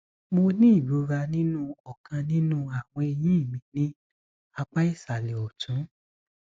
mo ní ìrora nínú ọkàn nínú àwọn eyín mi ní apá ìsàlẹ ọtún